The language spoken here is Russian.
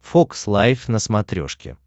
фокс лайв на смотрешке